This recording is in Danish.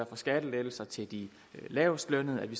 for skattelettelser til de lavestlønnede at vi